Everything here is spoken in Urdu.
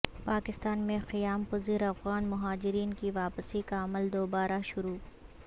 پاکستان میں قیام پذیر افغان مہاجرین کی واپسی کا عمل دوبارہ شروع